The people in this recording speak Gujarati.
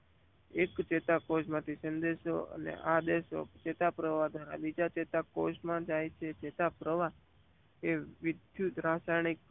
એક ચેતાકોષ માંથી સંદેશો આદેશો ચેતાપ્રવાહ માં બીજા ચેતાપ્રવાહ માં જાય છે. ચેતાપ્રવાહ એ વિધુત રાસાયણિક